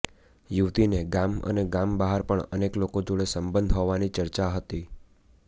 યુવતીને ગામ અને ગામ બહાર પણ અનેક લોકો જોડે સબંધ હોવાની ચર્ચા હતી